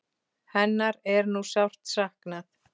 Hennar er nú sárt saknað.